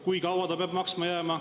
Kui kaua ta peab seda maksma jääma?